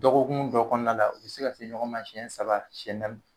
Dɔgɔkun dɔ kɔnɔna la u bɛ se ka se ɲɔgɔn ma siyɛn saba siyɛn naani.